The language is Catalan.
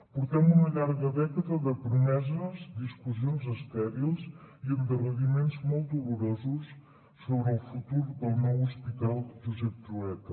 portem una llarga dècada de promeses discussions estèrils i endarreriments molt dolorosos sobre el futur del nou hospital josep trueta